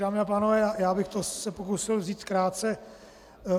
Dámy a pánové, já bych se to pokusil vzít krátce.